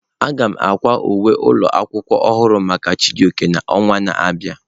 Aga m akwa uwe ụlọ akwụkwọ ọhụrụ maka Chijioke n'ọnwa na-abịa.